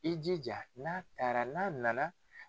I jija n'a taara n'a na na.